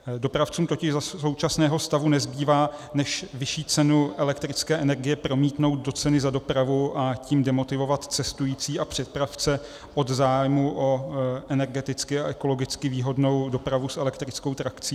Dopravcům totiž za současného stavu nezbývá, než vyšší cenu elektrické energie promítnout do ceny za dopravu, a tím demotivovat cestující a přepravce od zájmu o energeticky a ekologicky výhodnou dopravu s elektrickou trakcí.